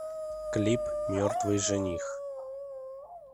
клип мертвый жених